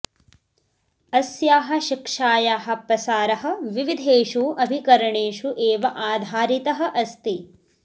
अस्याः शिक्षायाः प्रसारः विविधेषु अभिकरणेषु एव आधारितः अस्ति